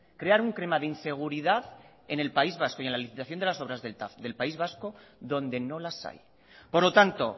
crear un clima de inseguridad en el país vasco y en la licitación de las obras de del tav del país vasco donde no las hay por lo tanto